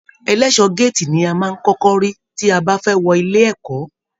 Ẹlẹṣọ gàátí ní a máa n kọkọ rí tí a bá wọ inú ilé ẹ̀kọ́.